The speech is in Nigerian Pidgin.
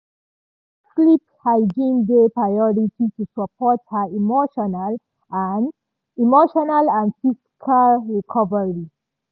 "she make sleep hygiene dey priority to support her emotional and emotional and physical recovery."